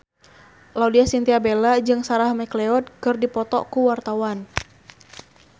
Laudya Chintya Bella jeung Sarah McLeod keur dipoto ku wartawan